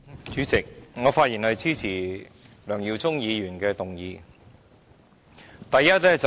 主席，我發言支持梁耀忠議員的議案。